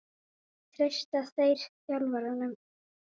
Treysta þeir þjálfaranum?